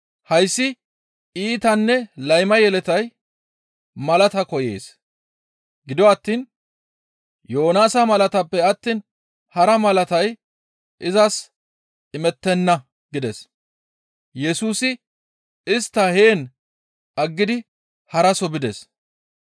Hayssi iitanne layma yeletay malaata koyees; gido attiin Yoonaasa malataappe attiin hara malatay izas imettenna» gides. Yesusi istta heen aggidi haraso bides.